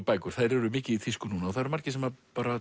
bækur eru mikið í tísku núna og það eru margir sem